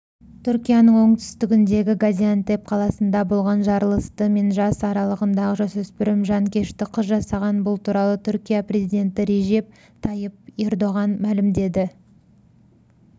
түркияның оңтүстігіндегі газиантеп қаласында болған жарылысты мен жас аралығындағы жасөспірім жанкешті қыз жасаған бұл туралы түркия президенті режеп тайып ердоған мәлімдеді